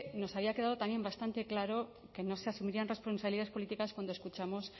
nos había quedado también bastante claro que no se asumirían responsabilidades políticas cuando escuchamos